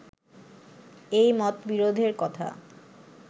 এই মতবিরোধের কথা